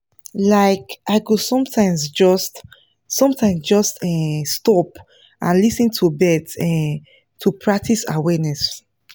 like i go sometimes just sometimes just um stop and lis ten to birds um to practice awareness